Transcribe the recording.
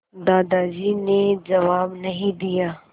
दादाजी ने जवाब नहीं दिया